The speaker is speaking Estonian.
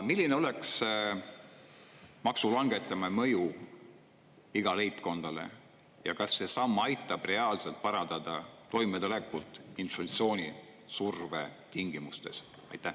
Milline oleks maksu langetamise mõju igale leibkonnale ja kas see samm aitab reaalselt parandada toimetulekut inflatsioonisurve tingimustes?